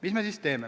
Mis me siis teeme?